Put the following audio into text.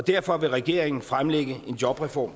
derfor vil regeringen fremlægge en jobreform